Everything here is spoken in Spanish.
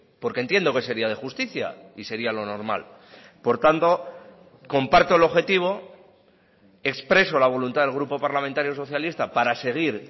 porque entiendo que sería de justicia y sería lo normal por tanto comparto el objetivo expreso la voluntad del grupo parlamentario socialista para seguir